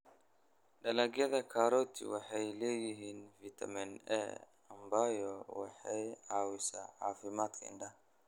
Dalagyada karoti waxay leeyihiin fiitamiin A, ambayo waxay caawisaa caafimaadka indhaha.